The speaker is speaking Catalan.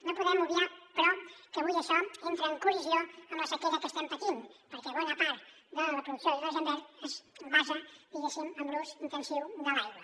no podem obviar però que avui això entra en col·lisió amb la sequera que estem patint perquè bona part de la producció d’hidrogen verd es basa diguéssim en l’ús intensiu de l’aigua